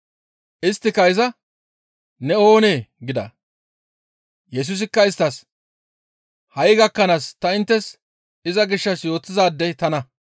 Isttika iza, «Ne oonee?» gida. Yesusikka isttas, «Ha7i gakkanaas ta inttes iza gishshas yootizaadey tana.